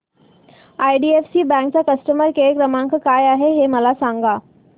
IDFC bank चा customer care क्रमांक काय आहे हे मला सांगा